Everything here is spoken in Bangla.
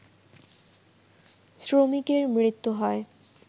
শ্রমিকের মৃত্যু হয়